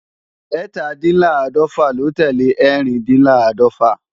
Ẹ́tàdínláàdọ̀fà ló tẹ́lẹ̀ Ẹ́rìndínláàdọ́fà